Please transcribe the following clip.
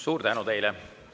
Suur tänu teile!